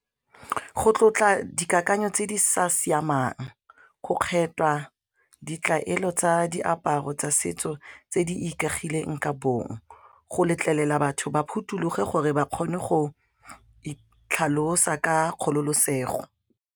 Go tlotla dikakanyo tse di sa siamang, go kgethwa, ditlaelo tsa diaparo tsa setso tse di ikaegileng ka bong, go letlelela batho ba phuthologe gore ba kgone go itlhalosa ka kgololosego.